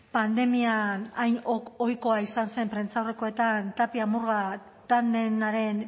pandemian hain ohikoa izan zen prentsaurrekoetan tapia murga tandemaren